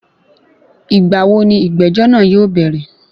Ìgbàwo ní ìgbẹ́jọ́ náà yóò bẹ̀rẹ̀?